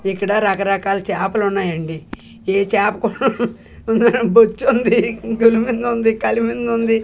ఇక్కడ రకరకాల చాపలు ఉన్నాయండి ఈ చాపకు హు హు హు బొచ్చుంది గులిమిందుంది కలిమిందుంది.